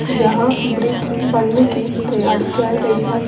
जहां ब्रिज बनने की तैयारी चल रही है।